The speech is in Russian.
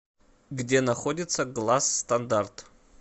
где находится гласс стандарт